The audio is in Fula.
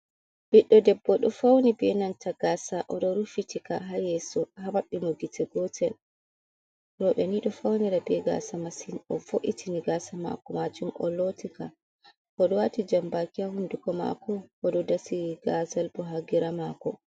Ɓiɗɗo debbo ɗo fauni benanta gasa oɗo rufitika ha yesso ha maɓɓi mo gite gotel, roɓɓe ni ɗo faunira be gasa massin o vo'itini gasa mako majum o loti ka oɗo wati jambaki ha hunduko mako oɗo dasi gazal bo ha gira mako.